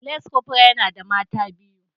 Lance corporal yana da mata biyu